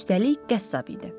Üstəlik qəssab idi.